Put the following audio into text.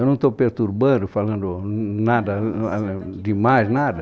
Eu não estou perturbando, falando nada ãh demais, nada?